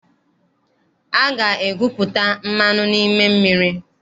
A ga-egwupụta mmanụ n'ime mmiri.